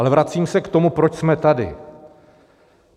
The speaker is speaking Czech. Ale vracím se k tomu, proč jsme tady.